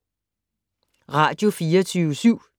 Radio24syv